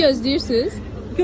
Bəs 700 gözləyirsiz?